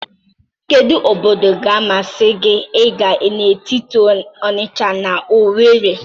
Kedu obodo ga-amasị gị ịga n'etiti Onisha na Owere?